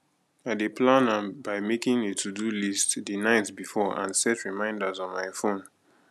i dey plan am by making a todo list di night before and set reminders on my phone